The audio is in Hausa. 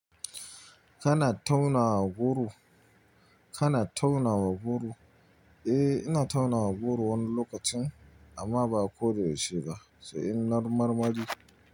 Kana tauna goro? Kana tauna goro? Eh, ina tauna goro wani lokacin amma ba koda yaushe ba, sai in nar marmari.